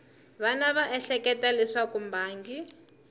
wana va ehleketa leswaku mbangi